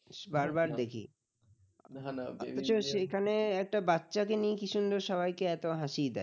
একটা বাচ্চাকে নিয়ে কি সুন্দর সবাইকে এত হাসি দেয়